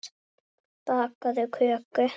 Bakaðu köku.